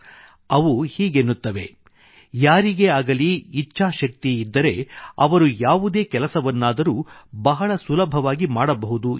ಅವು ಹೀಗೆನ್ನುತ್ತವೆ ಯಾರಿಗೇ ಆಗಲಿ ಇಚ್ಛಾಶಕ್ತಿ ಇದ್ದರೆ ಅವರು ಯಾವುದೇ ಕೆಲಸವನ್ನಾದರೂ ಬಹಳ ಸುಲಭವಾಗಿ ಮಾಡಬಹುದು ಎಂದು